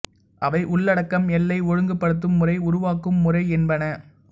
அவை உள்ளடக்கம் எல்லை ஒழுங்குபடுத்தும் முறை உருவாக்கும் முறை என்பன